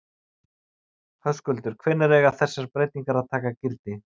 Höskuldur, hvenær eiga þessar breytingar að taka gildi?